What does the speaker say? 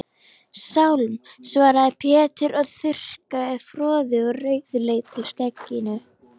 Sálm, svaraði Pétur og þurrkaði froðu úr rauðleitu skegginu.